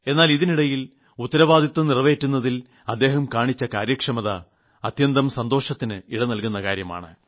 എന്നാൽ ഇതിനിടിയിൽ ഉത്തരവാദിത്വം നിറവേറ്റുന്നതിൽ അദ്ദേഹം കാണിച്ച കാര്യക്ഷമത അത്യന്തം സന്തോഷത്തിന് ഇട നൽകുന്ന കാര്യമാണ്